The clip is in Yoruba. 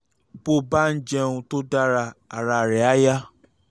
bó o bá ń jẹun tó dára ara rẹ̀ á yá